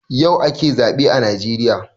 Yau ake zaɓe a najeriya